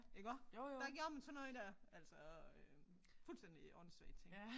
Iggå der gjorde man sådan noget der altså øh fuldstændig åndssvage ting